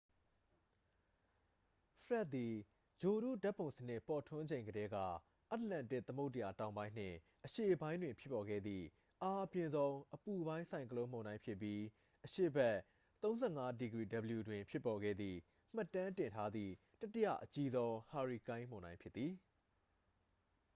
ဖရက်ဒ် သည် ဂြိုလ်တုဓာတ်ပုံစနစ် ပေါ်ထွန်းချိန်ကတည်းက အတ္တလန္တိတ်သမုဒ္ဒရာ တောင်ပိုင်းနှင့် အရှေ့ပိုင်းတွင် ဖြစ်ပေါ်ခဲ့သည့် အားအပြင်းဆုံး အပူပိုင်း ဆိုင်ကလုန်းမုန်တိုင်းဖြစ်ပြီး အရှေ့ဘက် ၃၅°w တွင် ဖြစ်ပေါ်ခဲ့သည့် မှတ်တမ်းတင်ထားသည့် တတိယအကြီးဆုံး ဟာရီကိန်းမုန်တိုင်း ဖြစ်သည်။